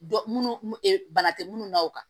Dɔ minnu bana tɛ munnu na o kan